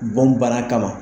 Bɔn bana kama